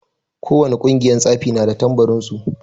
Ko wane ƙungiyar tsafi na da tambarin su.